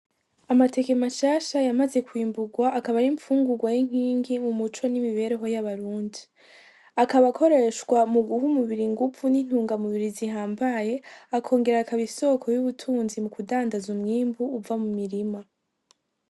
Amateke mashasha yamaze kwimbugwa akaba n'imfungurwa y'inkingi mu muco n'imibereho y'abarundi, akaba akoreshwa muguha umubiri inguvu n'intungamubiri zihambaye, akongera akaba isoko y'ubutunzi mukudandaza umwimbu uva mu mirima.